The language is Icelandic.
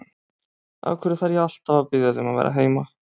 Af hverju þarf ég alltaf að biðja þig um að vera heima?